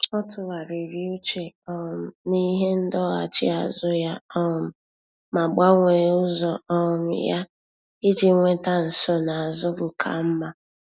Ọ́ tụ́ghàrị̀rị̀ úchè um n’íhé ndọghachi azụ ya um ma gbanwee ụ́zọ́ um ya iji nwéta nsonaazụ ka mma.